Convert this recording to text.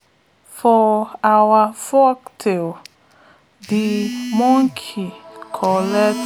for our folktales de monkey collect